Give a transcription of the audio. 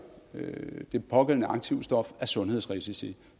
det pågældende aktivstof af sundhedsrisici